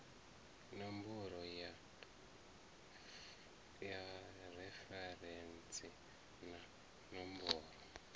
ṋomboro ya referentsi na ṋomboro